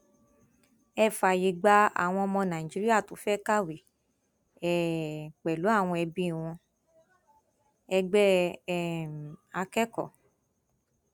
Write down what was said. ẹ fààyè gba àwọn ọmọ nàìjíríà tó fẹẹ kàwé um pẹlú àwọn ẹbí wọn ẹgbẹ um akẹkọọ